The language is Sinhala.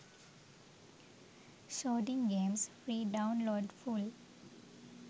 shooting games free download full